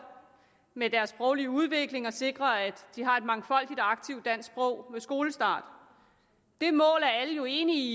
med deres sproglige udvikling og sikre at de har et mangfoldigt og aktiv dansk sprog ved skolestart det mål er alle jo enige i